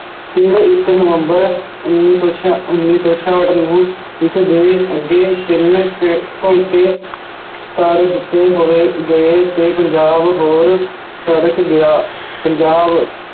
ਇੱਕ ਨਵੰਬਰ ਉੱਨੀ ਸੌ ਛਿਆ~ ਉੱਨੀ ਸੌ ਛਿਆਹਠ ਨੂੰ ਇਸਦੇ ਅੱਗੇ ਤਿੰਨ ਦਿੱਤੇ ਹੋਏ ਗਏ ਅਤੇ ਪੰਜਾਬ ਹੋਰ ਗਿਆ, ਪੰਜਾਬ